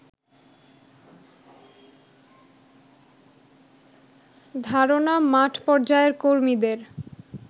ধারণা মাঠ পর্যায়ের কর্মীদের